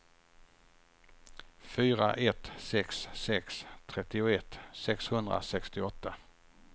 fyra ett sex sex trettioett sexhundrasextioåtta